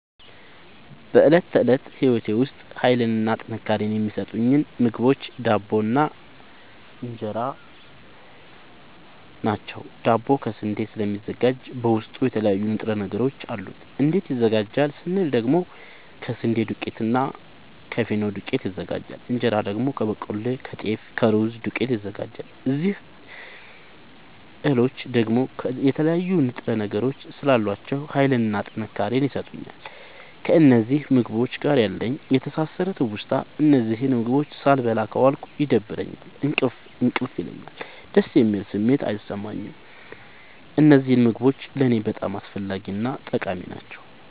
በእለት ተለት ህይወቴ ዉስጥ ሀይልንና ጥንካሬን የሚሠጡኝ ምግቦች ዳቦ እና እን ራ ናቸዉ። ዳቦ ከስንዴ ስለሚዘጋጂ በዉስጡ የተለያዩ ንጥረ ነገሮች አሉት። እንዴት ይዘጋጃል ስንል ደግሞ ከስንዴ ዱቄትና እና ከፊኖ ዱቄት ይዘጋጃል። እንጀራ ደግሞ ከበቆሎ ከጤፍ ከሩዝ ዱቄት ይዘጋጃል። እዚህ እህሎይ ደግሞ የተለያዩ ንጥረ ነገሮች ስላሏቸዉ ሀይልንና ጥንካሬን ይሠጡኛል። ከእነዚህ ምግቦች ጋር ያለኝ የተሣሠረ ትዉስታ እነዚህን ምግቦች ሣልበላ ከዋልኩ ይደብረኛል እንቅልፍ እንቅልፍ ይለኛል። ደስ የሚል ስሜት አይሠማኝም። እነዚህ ምግቦች ለኔ በጣም አስፈላጊናጠቃሚ ናቸዉ።